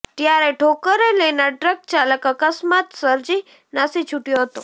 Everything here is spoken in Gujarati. ત્યારે ઠોકરે લેનાર ટ્રક ચાલક અકસ્માત સર્જી નાસી છૂટ્યો હતો